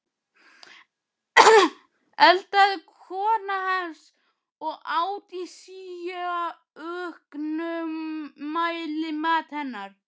eldaði kona hans, og át í síauknum mæli, mat hennar.